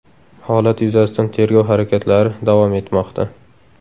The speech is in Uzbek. Holat yuzasidan tergov harakatlari davom etmoqda.